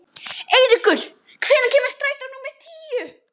Eiríkur, hvenær kemur strætó númer tíu?